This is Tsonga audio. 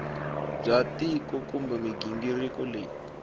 bya tiko kumbe mighingiriko leyi